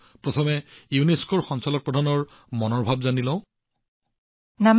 প্ৰথমে আমি ইউনেস্কোৰ ডিজিৰ মন কী বাত শুনো আহক